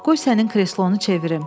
Qoy sənin kreslonu çevirim.